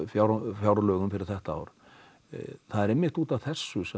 fjárlögum fyrir þetta ár það er einmitt útaf þessu sem